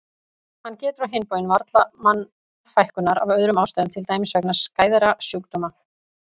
Hann getur á hinn bóginn varla mannfækkunar af öðrum ástæðum til dæmis vegna skæðra sjúkdóma.